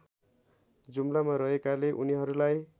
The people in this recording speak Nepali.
जुम्लामा रहेकाले उनीहरूलाई